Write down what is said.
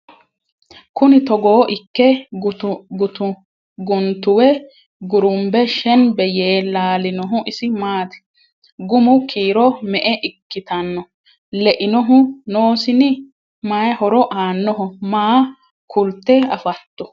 Kunni togo ikke guntuwe gurunbe shenbbe yee laalinohu isi maatti? gumu kiiro me'e ikkitanno? leinohu noosinni? Mayi horo aannoho? Maa kulitte affatto?